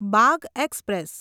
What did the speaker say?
Bagh express